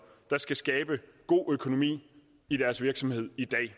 der skal skabe god økonomi i deres virksomhed i dag